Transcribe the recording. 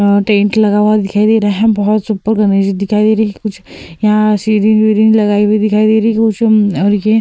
अ tent लगा हुआ दिखाई दे रहा है। बोहोत सुपर दिखाई दे रही है। कुछ यहाँ सिरिंज विरिंज लगाई हुई दिखाई दे रही है। और ये --